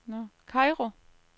Kairo